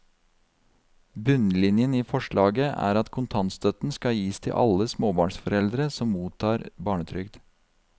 Bunnlinjen i forslaget er at kontantstøtten skal gis til alle småbarnsforeldre som mottar barnetrygd.